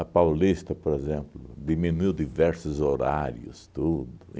Paulista, por exemplo, diminuiu diversos horários, tudo.